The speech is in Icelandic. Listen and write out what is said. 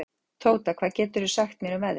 Tóta, hvað geturðu sagt mér um veðrið?